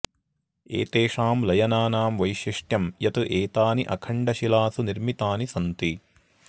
एतेषां लयनानां वैशिष्ट्यं यत् एतानि अखण्डशिलासु निर्मितानि सन्ति